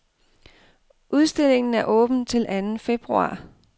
Udstillingen er åben til anden februar.